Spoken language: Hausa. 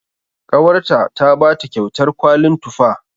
Ƙawarta ta bata kyautar kwalin tufa.